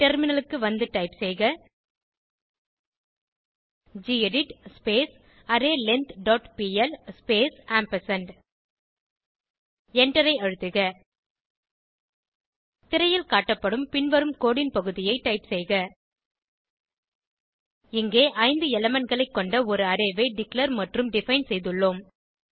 டெர்மினலுக்கு வந்து டைப் செய்க gedit array length dot P L space ampersand எண்டரை அழுத்துக திரையில் காட்டப்படும் பின்வரும் கோடு ன் பகுதியை டைப் செய்க இங்கே 5 elementகளை கொண்ட ஒரு அரே ஐ டிக்ளேர் மற்றும் டிஃபைன் செய்துள்ளோம்